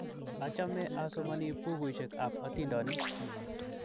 Achame asomani pukuisyek ap atindonik